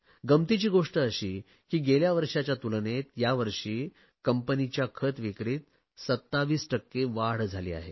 गंमतीची गोष्ट अशी की गेल्या वर्षाच्या तुलनेत यावर्षी कंपनीच्या खत विक्रीत 27 टक्के वाढ झाली आहे